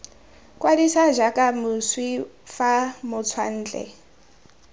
kwadisa jaaka moswi fa motswantle